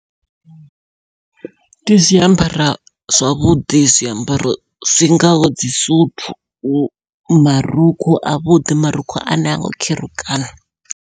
Ndi zwiambara zwavhuḓi zwiambaro zwi ngaho dzi suthu, marukhu avhuḓi marukhu ane hango kherukana.